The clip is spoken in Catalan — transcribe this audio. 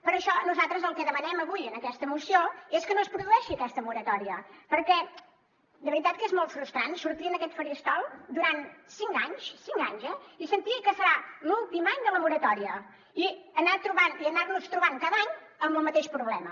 per això nosaltres el que demanem avui en aquesta moció és que no es produeixi aquesta moratòria perquè de veritat que és molt frustrant sortir en aquest faristol durant cinc anys cinc anys eh i sentir que serà l’últim any de la moratòria i anar nos trobant cada any amb el mateix problema